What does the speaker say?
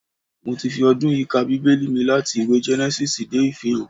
Mo ti fi ọdún yìí ka Bíbẹ́lì mi láti ìwé Gẹ́nẹ́sísì dé Ìfihàn